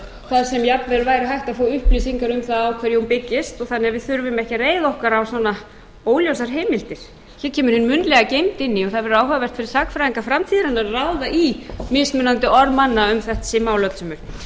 jafnvel væri hægt að fá upplýsingar um það á hverju hún byggist þannig að við þurfum ekki að reiða okkur á svona óljósar heimildir svo kemur hin munnlega gangi inn í og það verður áhugavert fyrir sagnfræðinga framtíðarinnar að ráða í mismunandi orð manna um þessi mál öllsömul ég